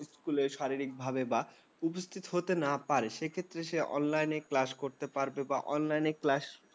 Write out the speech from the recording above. school শারীরিক ভাবে বা উপস্থিত হতে না পারে, সেক্ষেত্রে সে online class করতে পারবে বা online class